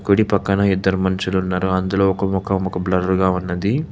కుడి పక్కన ఇద్దరు మనుషులున్నారు అందులో ఒక ముఖం బ్లర్ గా ఉన్నది.